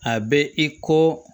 A bɛ i ko